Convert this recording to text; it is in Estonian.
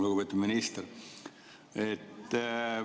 Lugupeetud minister!